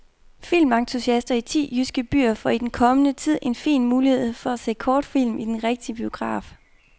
Filmentusiaster i ti jyske byer får i den kommende tid en fin mulighed for at se kortfilm i den rigtige biograf.